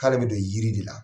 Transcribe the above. K'ale bɛ don jiri de la